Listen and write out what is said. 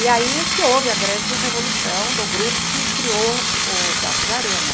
E aí que houve a grande revolução do grupo que criou o Teatro de Arena.